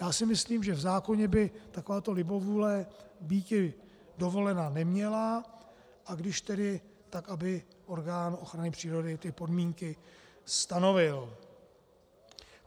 Já si myslím, že v zákoně by taková libovůle být dovolena neměla, a když tedy, tak aby orgán ochrany přírody ty podmínky stanovil.